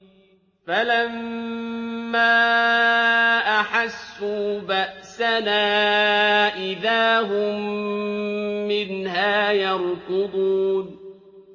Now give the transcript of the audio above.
فَلَمَّا أَحَسُّوا بَأْسَنَا إِذَا هُم مِّنْهَا يَرْكُضُونَ